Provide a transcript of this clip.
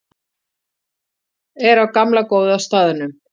Er á gamla góða staðnum.